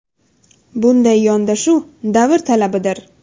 Bunday yondashuv – davr talabidir.